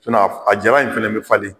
a jalan in fana bɛ falen